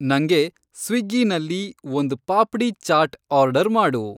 ನಂಗೆ ಸ್ವಿಗ್ಗೀನಲ್ಲಿ ಒಂದ್ ಪಾಪ್ಡೀ ಚಾಟ್ ಆರ್ಡರ್‌ ಮಾಡು